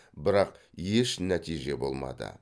бірақ еш нәтиже болмады